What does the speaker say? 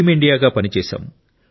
team ఇండియాగా పనిచేశాం